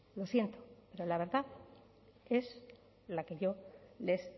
lo siento pero la verdad es la que yo les